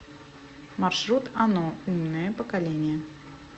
маршрут ано умное поколение